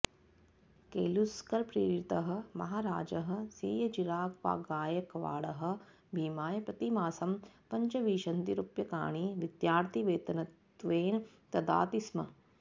केलूस्करप्रेरितः महाराजः सैय्यजिरावगायकवाडः भीमाय प्रतिमासं पञ्चविंशतिरुप्यकाणि विद्यार्थिवेतनत्वेन ददाति स्म